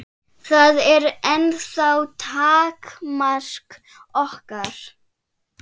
Það er ennþá takmark okkar.